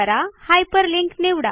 hyperlink निवडा